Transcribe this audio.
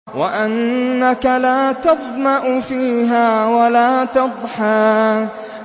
وَأَنَّكَ لَا تَظْمَأُ فِيهَا وَلَا تَضْحَىٰ